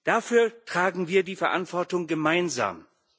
Dafür tragen wir die Verantwortung gemeinsam heute.